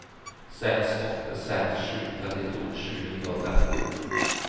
seks åtte seks sju trettito sju hundre og tretti